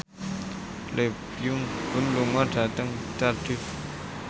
Lee Byung Hun lunga dhateng Cardiff